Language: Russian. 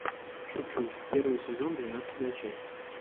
шучу первый сезон двенадцатая часть